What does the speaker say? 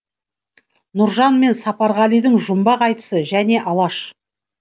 нұржан мен сапарғалидың жұмбақ айтысы және алаш